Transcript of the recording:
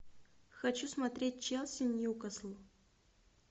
хочу смотреть челси ньюкасл